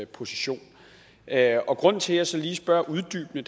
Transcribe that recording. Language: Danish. position er og grunden til at jeg så lige spørger uddybende